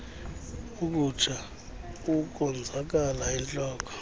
ukutsha ukonzakala entloko